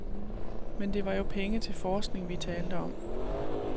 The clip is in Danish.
Men det var jo penge til forskning, vi talte om.